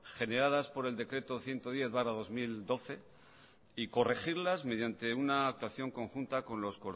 generadas por el decreto ciento diez barra dos mil doce y corregirlas mediante una actuación conjunta con los